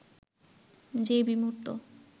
যে বিমূর্ত